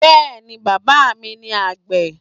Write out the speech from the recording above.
Yes, my father is farmer